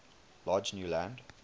large new land